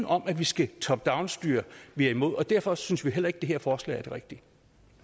om at vi skal top down styre vi er imod og derfor synes vi heller ikke det her forslag